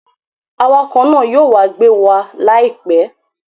Awakọ̀ náà yóò wá gbé wa láìpẹ́